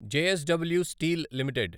JSW steel limited